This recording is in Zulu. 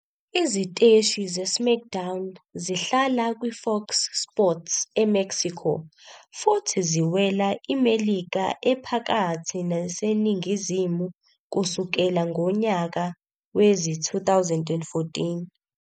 "Iziteshi" zeSmackDown zihlala kwiFox Sports eMexico futhi ziwela iMelika Ephakathi neseNingizimu kusukela ngonyaka wezi-2014.